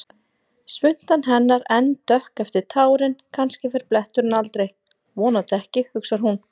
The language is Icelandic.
Svuntan hennar enn dökk eftir tárin, kannski fer bletturinn aldrei, vonandi ekki, hugsar hún.